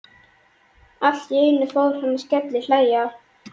Allt í einu fór hann að skellihlæja.